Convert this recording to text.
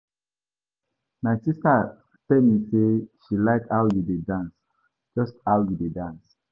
My sister tell me say she like how you dey dance, just how you dey dance.